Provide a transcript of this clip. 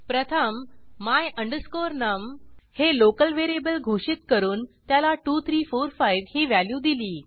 प्रथम my num हे local variable घोषित करून त्याला 2345 ही व्हॅल्यू दिली